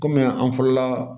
Kɔmi an fɔlɔla